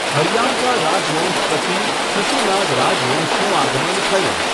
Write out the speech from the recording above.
હરિયાંકા રાજવંશ પછી શિશુનાગ રાજવંશનું આગમન થયું.